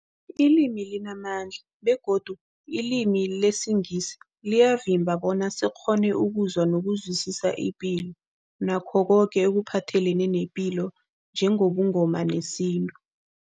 Ilimi limamandla begodu ilimi lesiNgisi liyasivimba bona sikghone ukuzwa nokuzwisisa ipilo nakho koke ekuphathelene nepilo njengobuNgoma nesintu.